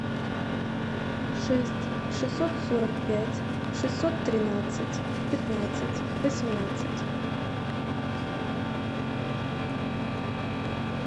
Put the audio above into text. шесть шестьсот сорок пять шестьсот тринадцать пятнадцать восемнадцать